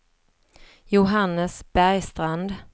Johannes Bergstrand